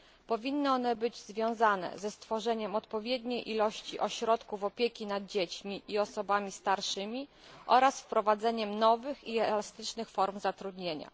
Powinny one być związane ze stworzeniem odpowiedniej ilości ośrodków opieki nad dziećmi i osobami starszymi oraz z wprowadzeniem nowych i elastycznych form zatrudnienia.